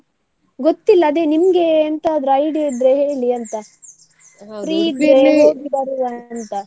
ಗೊತ್ತಿಲ್ಲ ಅದೇ ನಿಮ್ಗೆ ಎಂತಾದ್ರು idea ಇದ್ರೆ ಹೇಳಿ ಅಂತ, ಇದ್ರೆ ಹೋಗಿ ಬರುವ ಅಂತ.